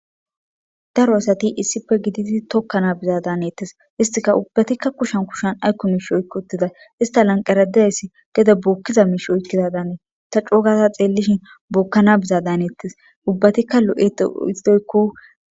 Daro asati issife giditi tokkana biza daanettes istika ubbatikka kushan kushan aykko miish oykki uttida ista lanqeradess gede bookkiza miish oykkiza daanee ta cogasa xeellishin bookkana biza daanettes ubbatikka lo7eto ixidoykko